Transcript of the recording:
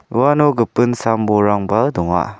uano gipin sam-bolrangba donga.